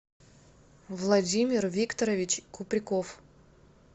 владимир викторович куприков